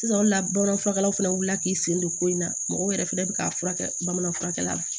Sisan o la bamananfurakɛlaw fana wulila k'i sen don ko in na mɔgɔw yɛrɛ fɛnɛ bɛ k'a furakɛ bamanan furakɛla la